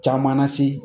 Caman na se